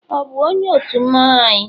ọ bu onye otu mmanwu anyị?